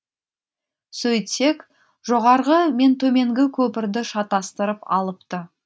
сөйтсек жоғарғы мен төменгі көпірді шатастырып алыпты